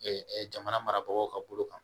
jamana marabagaw ka bolo kan